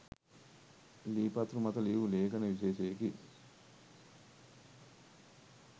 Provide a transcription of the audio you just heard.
ලී පතුරු මත ලියූ ලේඛන විශේෂයකි.